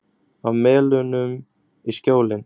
Af Melunum í Skjólin.